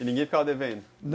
E ninguém ficava devendo? Não...